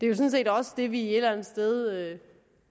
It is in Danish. jo sådan set også det vi et eller andet sted